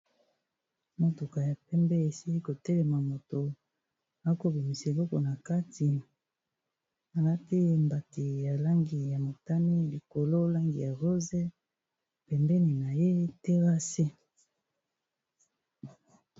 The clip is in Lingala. Motuka ya pembe esili ko telema moto ako bimisa eloko na kati, alati mbati ya langi ya motani, likolo langi ya rose m,pembeni na ye terrasse.